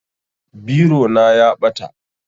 Biro na ya ɓata